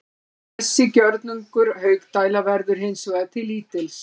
Þessi gjörningur Haukdæla verður hins vegar til lítils.